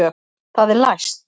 Það er læst!